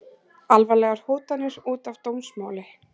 Alvarlegar hótanir út af dómsmáli